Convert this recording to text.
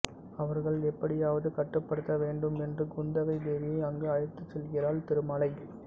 அவர்களை எப்படியாவது கட்டுப்படுத்த வேண்டும் என்று குந்தவை தேவியை அங்கு அழைத்துச் செல்கிறான் திருமலை